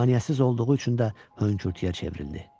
Maneəsiz olduğu üçün də hönkürtüyə çevrildi.